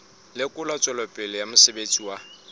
lekola tswelopele ya mosebetsi wa